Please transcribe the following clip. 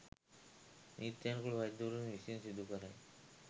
නීත්‍යනුකූල වෛද්‍යවරුන් විසින් සිදු කරයි.